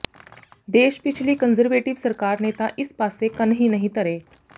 ਦੇਸ਼ ਪਿਛਲੀ ਕੰਜ਼ਰਵੇਟਿਵ ਸਰਕਾਰ ਨੇ ਤਾਂ ਇਸ ਪਾਸੇ ਕੰਨ ਹੀ ਨਹੀਂ ਧਰੇ